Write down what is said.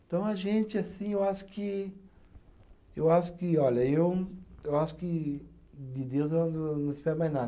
Então, a gente, assim, eu acho que. Eu acho que, olha, eu eu acho que de Deus eu não espero mais nada.